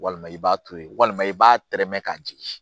Walima i b'a to yen walima i b'a tɛrɛmɛ ka jigin